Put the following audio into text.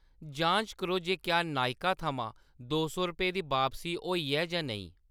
जांच करो जे क्या नायका थमां दो सौ दी बापसी होई ऐ जां नेईं।